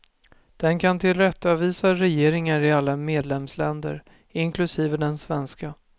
Den kan tillrättavisa regeringar i alla medlemsländer, inklusive den svenska.